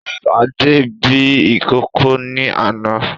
Sadé bí ìkókó ni àná